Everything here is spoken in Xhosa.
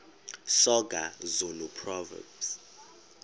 soga zulu proverbs